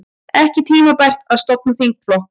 Ekki tímabært að stofna þingflokk